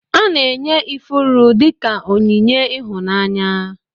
Ana enye ifuru dika onyinye ihụnanya.